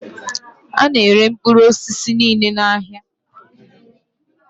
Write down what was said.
Ana ere mkpụrụ osisi niile n' áhiá.